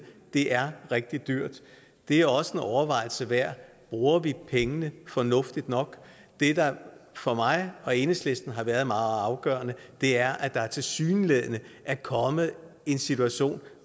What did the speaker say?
det er rigtig dyrt det er også en overvejelse værd bruger vi pengene fornuftigt nok det der for mig og enhedslisten har været meget afgørende er at der tilsyneladende er kommet en situation